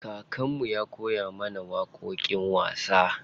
Kakan mu ya koya mana waƙoƙin wasa.